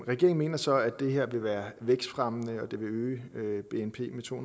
mener så at det her vil være vækstfremmende og at det vil øge bnp med to